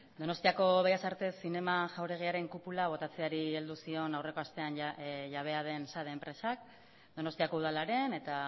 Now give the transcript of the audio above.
donostiako bellas artes zinema jauregiaren kupulari botatzeari heldu zion aurreko astean jabea den sade enpresak donostiako udalaren eta